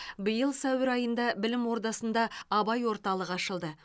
биыл сәуір айында білім ордасында абай орталығы ашылды